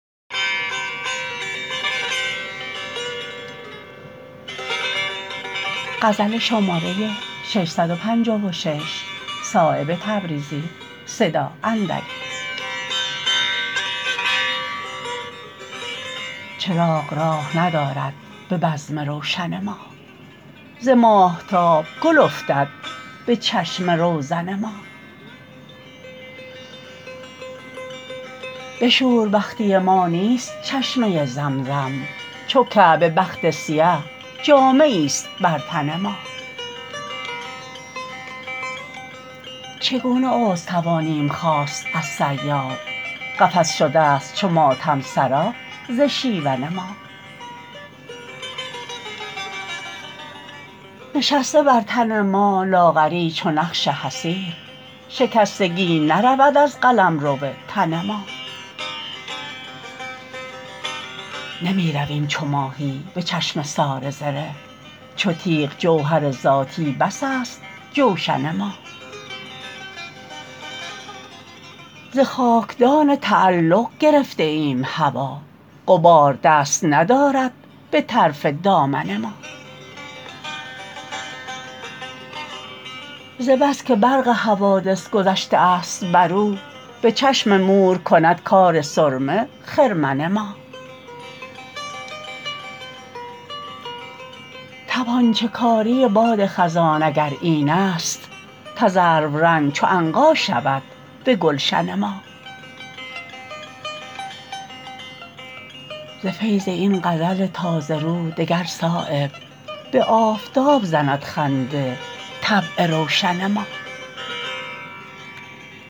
چراغ راه ندارد به بزم روشن ما ز ماهتاب گل افتد به چشم روزن ما به شوربختی ما نیست چشمه زمزم چو کعبه بخت سیه جامه ای است بر تن ما چگونه عذر توانیم خواست از صیاد قفس شده است چو ماتم سرا ز شیون ما نشسته بر تن ما لاغری چو نقش حصیر شکستگی نرود از قلمرو تن ما نمی رویم چو ماهی به چشمه سار زره چو تیغ جوهر ذاتی بس است جوشن ما ز خاکدان تعلق گرفته ایم هوا غبار دست ندارد به طرف دامن ما ز بس که برق حوادث گذشته است بر او به چشم مور کند کار سرمه خرمن ما تپانچه کاری باد خزان اگر این است تذرو رنگ چو عنقا شود به گلشن ما ز فیض این غزل تازه رو دگر صایب به آفتاب زند خنده طبع روشن ما